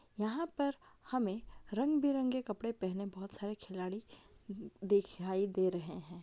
यहाँ पर हमें रंगे-बिरंगे कपड़े पहने हुये बहुत सारे खिलाड़ी द दिखाई दे रहे हैं।